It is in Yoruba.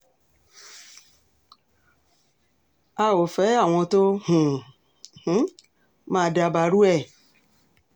a ò fẹ́ àwọn tó um máa dabarú ẹ̀